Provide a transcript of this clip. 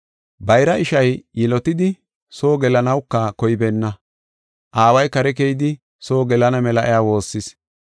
“Bayra ishay yilotidi soo gelanawuka koybeenna. Aaway kare keyidi soo gelana mela iya woossis.